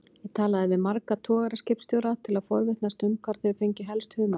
Ég talaði við marga togaraskipstjóra til að forvitnast um hvar þeir fengju helst humarinn.